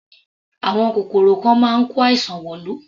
Àwọn kòkòrò kan máa ń kó àìsàn wọ̀lú.